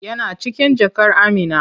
Yana cikin jakar Amina.